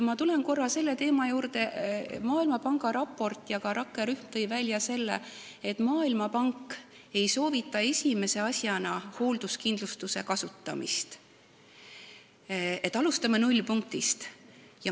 Ma tulen korra veel selle juurde, et Maailmapanga raport ja ka rakkerühm tõid välja, et Maailmapank ei soovita esimese asjana hoolduskindlustust, tuleks alustada nullpunktist.